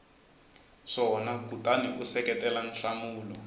swona kutani u seketela nhlamulo